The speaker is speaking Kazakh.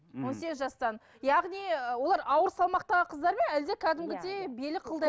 он сегіз жастан яғни олар ауыр салмақтағы қыздар ма әлде кәдімгідей белі